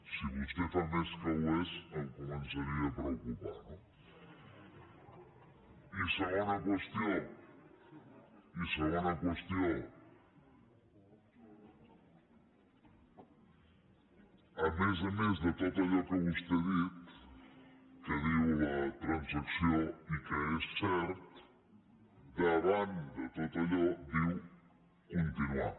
si vostè en fa més que ho és em començaria a preocupar no i segona qüestió a més a més de tot allò que vostè ha dit que diu la transacció i que és cert davant de tot allò diu continuar